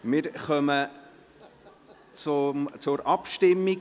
Wir kommen zur Abstimmung.